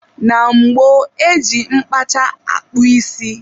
Na gboo, e ji mkpacha akpụ isi.